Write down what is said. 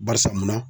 Barisa munna